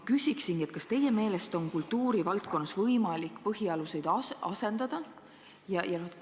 Kas teie meelest on kultuuri valdkonnas võimalik põhialuseid asendada?